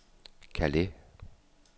Calais